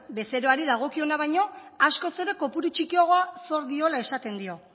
bezeroari dagokiona baino askoz ere kopuru txikiagoa zor diola esaten dio